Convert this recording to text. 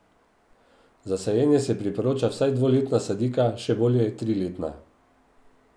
Za sajenje se priporoča vsaj dvoletna sadika še bolje tri letna.